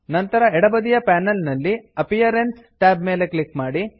ನಂತರ ಎಡಬದಿಯ ಪೇನಲ್ ನಲ್ಲಿ ಅಪಿಯರೆನ್ಸ್ ಅಪಿಯರೆನ್ಸ್ ಟ್ಯಾಬ್ ಮೇಲೆ ಕ್ಲಿಕ್ ಮಾಡಿ